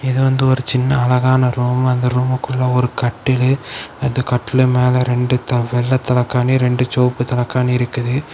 இது வந்து ஒரு சின்ன அழகான ரூம் இந்த ரூம்க்குள்ள ஒரு கட்டில் அந்த கட்டிலு மேல இரண்டு வெள்ளை தலைகாணி இரண்டு செவப்பு தலைகாணி இருக்குது.